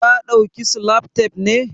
Ka dauki salatep ne?